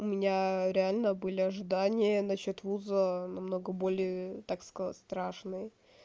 у меня реально были ожидания насчёт вуза намного более так сказать страшные